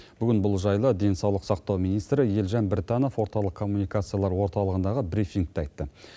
бүгін бұл жайлы денсаулық сақтау министрі елжан біртанов орталық коммуникациялар орталығындағы брифингте айтты